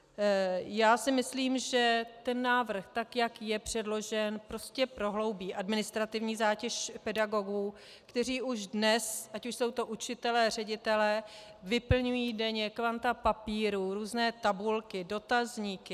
Já si myslím, že ten návrh, tak jak je předložen, prostě prohloubí administrativní zátěž pedagogů, kteří už dnes, ať už jsou to učitelé, ředitelé, vyplňují denně kvanta papírů, různé tabulky, dotazníky.